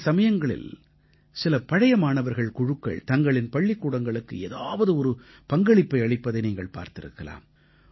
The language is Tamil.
சில சமயங்களில் சில பழைய மாணவர்கள் குழுக்கள் தங்களின் பள்ளிக்கூடங்களுக்கு ஏதாவது ஒரு பங்களிப்பை அளிப்பதை நீங்கள் பார்த்திருக்கலாம்